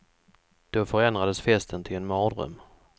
Då förändrades festen till en mardröm.